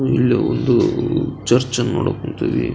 ಇಲ್ಲೆ ಒಂದು ಚರ್ಚನ್ನ ಮಾಡೋಕ್ ಹೊಂತೀವಿ.